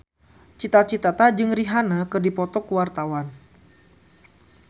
Cita Citata jeung Rihanna keur dipoto ku wartawan